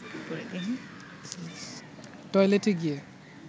টয়েলেটে গিয়ে